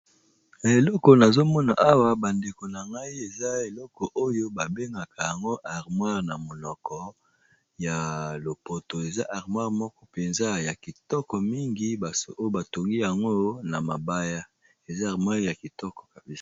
Na eloko nazomona awa bandeko na ngai eza eloko oyo babengaka yango armoire na monoko ya lopoto, eza armoire moko mpenza ya kitoko mingi, basi oyo batongi yango na mabaya eza armoire ya kitoko kaba.